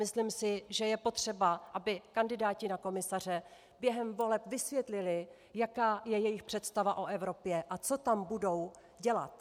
Myslím si, že je potřeba, aby kandidáti na komisaře během voleb vysvětlili, jaká je jejich představa o Evropě a co tam budou dělat.